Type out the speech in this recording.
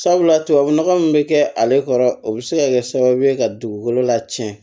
Sabula tubabu nɔgɔ min bɛ kɛ ale kɔrɔ o bɛ se ka kɛ sababu ye ka dugukolo lacɛn